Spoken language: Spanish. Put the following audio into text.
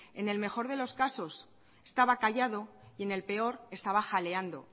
en el mejor de los casos estaba callado y en el peor estaba jaleando